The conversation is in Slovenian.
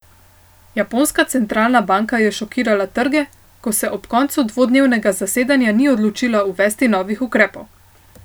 Japonska centralna banka je šokirala trge, ko se ob koncu dvodnevnega zasedanja ni odločila uvesti novih ukrepov.